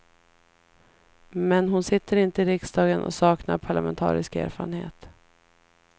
Men hon sitter inte i riksdagen och saknar parlamentarisk erfarenhet.